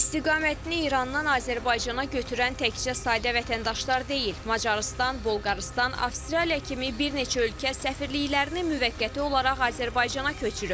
İstiqamətini İrandan Azərbaycana götürən təkcə sadə vətəndaşlar deyil, Macarıstan, Bolqarıstan, Avstraliya kimi bir neçə ölkə səfirliklərini müvəqqəti olaraq Azərbaycana köçürüb.